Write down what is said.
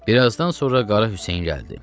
Bir azdan sonra Qara Hüseyn gəldi.